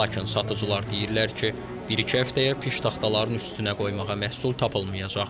Lakin satıcılar deyirlər ki, bir-iki həftəyə piştaxtaların üstünə qoymağa məhsul tapılmayacaq.